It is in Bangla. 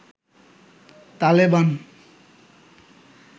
তালেবান